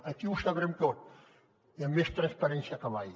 aquí ho sabrem tot i amb més transparència que mai